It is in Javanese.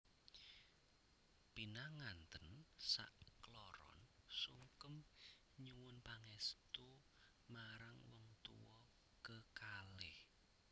Pinangantèn sak kloron sungkem nyuwun pangèstu marang wong tuwa kekalih